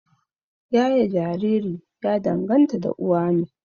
Yaye Jariri ya danganta da uwa ne